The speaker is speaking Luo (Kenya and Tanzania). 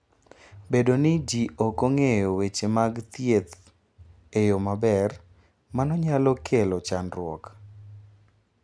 Bedo ni ji ok ong'eyo weche mag thieth e yo maber, mano nyalo kelo chandruok.